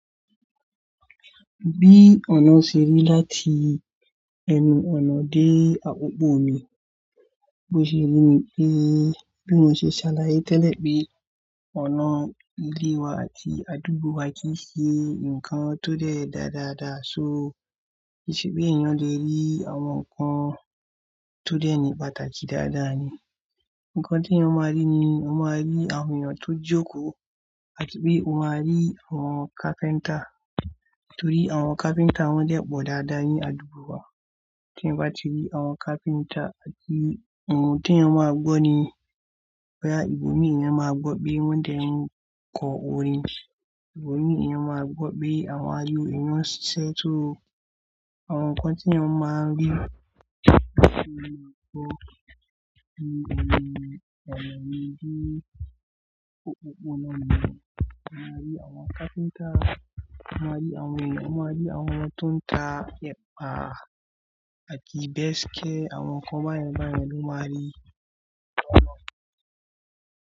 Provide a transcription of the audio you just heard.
Bí ọ̀nà ṣe rí láti ẹnu ọ̀nà dé adogbo mi, bó ṣe rí ni bí mo ṣe ṣàlàyé tẹ́lẹ̀ pé ọ̀nà ilé wa àti àdúgbò wa kìí ṣe nkan tó dẹ̀ dada da so. Kì sí bí èyàn lè rí àwọn nkan tó dẹ̀ lè pàdà ṣe dáadáa ni. Ǹkan tí ẹ́yàn ma rí ni, ẹ́yàn ma rí àwọn èèyàn tó jókòó àti pé ẹ́yàn ma rí àwọn carpenter. Torí àwọn carpenter wọn dẹ̀ gbọ́ dáadáa ní àdúgbò wa. Tí èyàn bá ti rí àwọn carpenter àti ohun tí ẹ́yàn ma gbọ́ ni, wá ìgboro ni ẹ́yàn ma gbọ́ pé wọ́n dẹ̀ n kọ orin. Ìbo mi èyàn ma gbọ́ pé àwọn èyàn nṣe iṣẹ́. Àwọn nkan tí ẹ́n ma n rí, ẹ́n ma n gbọ́ ni ọ̀nà mi de apapọ ọ̀nà mi, ẹ́n ma rí àwọn carpenter, ẹ́n ma rí àwọn èèyàn, ẹ́n ma rí àwọn tó n ta ẹ̀pà àti bẹskẹ́. Àwọn nkan báyẹn báyẹn lo máa rí ní ọ̀nà.